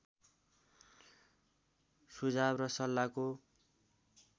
सुझाव र सल्लाहको